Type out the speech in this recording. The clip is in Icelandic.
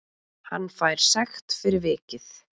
Hann fær sekt fyrir vikið